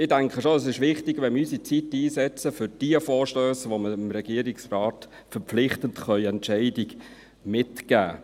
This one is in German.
Ich denke schon, dass es wichtig ist, dass wir unsere Zeit für jene Vorstösse einsetzen, mit welchen wir dem Regierungsrat eine verpflichtende Entscheidung mitgeben können.